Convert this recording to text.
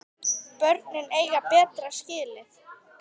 Börnin eiga betra skilið.